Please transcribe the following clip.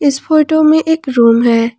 इस फोटो में एक रूम है।